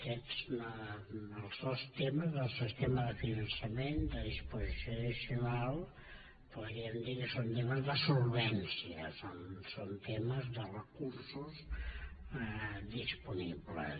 aquests els dos temes el tema de finançament de disposició addicional podríem dir que són temes de solvència són temes de recursos disponibles